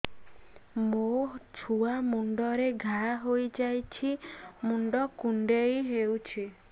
ମୋ ଛୁଆ ମୁଣ୍ଡରେ ଘାଆ ହୋଇଯାଇଛି ମୁଣ୍ଡ କୁଣ୍ଡେଇ ହେଉଛି